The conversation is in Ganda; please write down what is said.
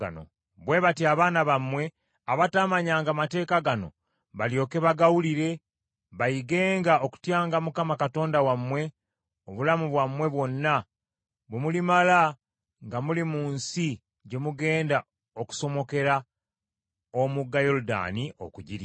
Bwe batyo abaana baabwe abataamanyanga mateeka gano, balyoke bagawulire bayigenga okutyanga Mukama Katonda wammwe, obulamu bwammwe bwonna bwe mulimala nga muli mu nsi gye mugenda okusomokera omugga Yoludaani okugirya.”